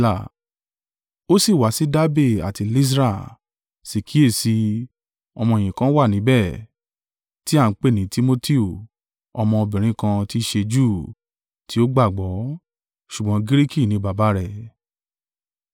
Ó sì wá sí Dabe àti Lysra: sí kíyèsi i, ọmọ-ẹ̀yìn kan wà níbẹ̀, tí a ń pè ní Timotiu, ọmọ obìnrin kan tí í ṣe Júù, tí ó gbàgbọ́; ṣùgbọ́n Giriki ní baba rẹ̀.